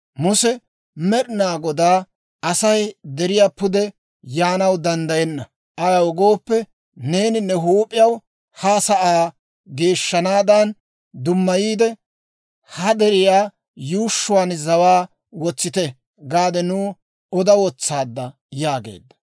Muse Med'inaa Godaa, «Asay deriyaa pude yaanaw danddayenna; ayaw gooppe, neeni ne huup'iyaw, ‹Ha sa'aa geeshshaadan dummayiide, ha deriyaa yuushshuwaan zawaa wotsite› gaade nuw oda wotsaadda» yaageedda.